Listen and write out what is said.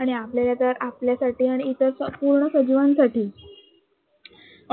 आणि आपल्याला तर आपल्यासाठी आणि पूर्ण सजीवांसाठी